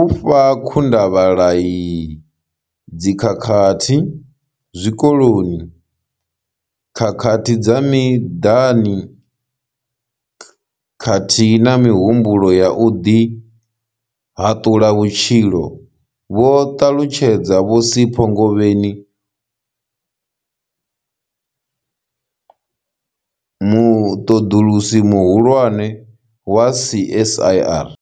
u fha khundavhalai, dzikhakhathi zwikoloni, khakhathi dza miḓani khathihi na mihumbulo ya u ḓihaḓula vhutshilo, vho ṱalutshedza vho Sipho Ngobeni, muṱoḓulusi muhulwane wa CSIR.